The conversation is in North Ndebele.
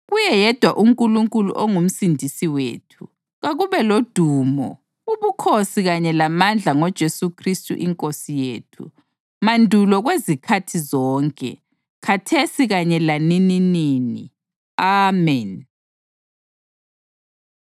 kuye yedwa uNkulunkulu onguMsindisi wethu, kakube lodumo, ubukhosi kanye lamandla ngoJesu Khristu iNkosi yethu, mandulo kwezikhathi zonke, khathesi kanye lanininini! Ameni.